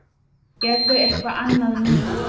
Gerðu eitthvað annað núna.